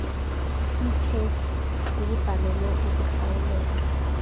itshekhi ebhalelwe ukuhlawuleka